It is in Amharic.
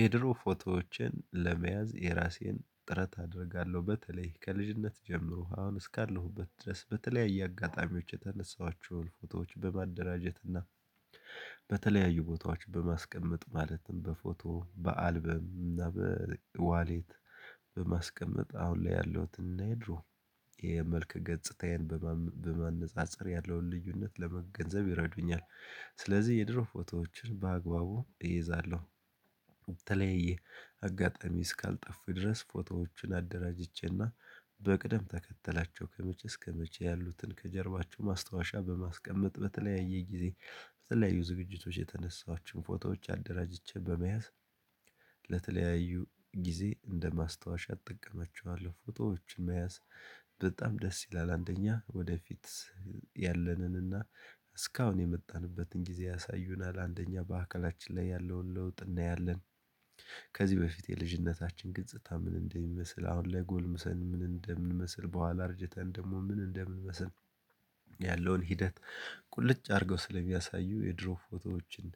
የድሮ ፎቶዎችን ለመያዝ የራሴን ጥረት አደርጋለሁ። በተለይ ከልጅነት ጀምሮ አሁን እስካለሁበት ድረስ በተለያየ አጋጣሚዎች የተነሳኋቸውን ፎቶዎች በማደራጀት እና በተለያዩ ቦታዎች በማስቀመጥ ማለትም በፎቶ በአልበም እና በዋሌት በማስቀመጥ አሁን ላይ ያለውትን እና ድሮ የመልክ ገጽታዬን በማነጻጸር ያለውን ልዩነት ለመገንዘብ ይረዱኛል። ስለዚህ የድሮ ፎቶዎችን በአግባቡ እይዛለሁ። በተለያየ አጋጣሚ እስካልጠፉ ድረስ ፎቶዎችን አደራጅቼና በቅደም ተከተላቸው ከመቼ እስከመቼ ያሉትን ከጀርባቸው ማስታወሻ በማስቀመጥ በተለያየ ጊዜ በተለያዩ ዝግጅቶች የተነሳኋቸውን ፎቶዎች አደራጅቼ በመያዝ ለተለያዩ ጊዜ እንደ ማስታወሻ እጠቀማቸዋለሁ። ፎቶዎች መያዝ በጣም ደስ ይላል። አንደኛ ወደፊት ያለንንና እስካሁን የመጣንበትን ጊዜ ያሳዩናል። አንደኛ በአካላችን ላይ ያለውን ለውጥ እናያለን። ከዚህ በፊት የልጅነታችን ግጽታ ምን እንደሚመስል፤ አሁን ላይ ጎልምሰን ምን እንደምንመስል በኋላ አርጅተን ደግሞ ምን እንደምንመስል ያለውን ሂደት ቁልጭ አድርገው ስለሚያሳዩ የድሮ ፎቶዎችን